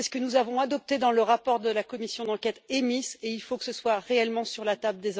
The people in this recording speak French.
C'est ce que nous avons adopté dans le rapport de la commission d'enquête EMIS et il faut que ce soit réellement pris en compte.